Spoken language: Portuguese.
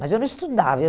Mas eu não estudava. Eu